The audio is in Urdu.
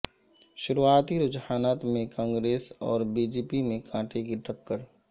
شروعاتی رجحانات میں کانگریس اور بی جے پی میں کانٹے کی ٹکر